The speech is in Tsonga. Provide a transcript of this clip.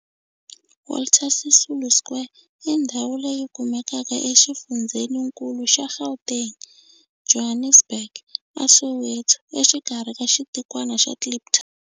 Walter Sisulu Square i ndhawu leyi kumekaka exifundzheninkulu xa Gauteng, Johannesburg, a Soweto, exikarhi ka xitikwana xa Kliptown.